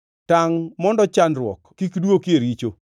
Tangʼ mondo chandruok kik dwoki e richo.